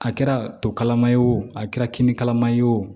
A kɛra to kalama ye o a kɛra kini kalaman ye o